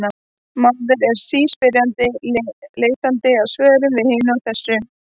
Maðurinn er síspyrjandi, leitandi að svörum við hinu og þessu.